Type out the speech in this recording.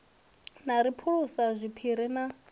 na ri phulisa zwiphiri na